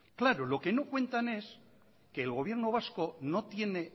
claro lo que no cuentan es que el gobierno vasco no tiene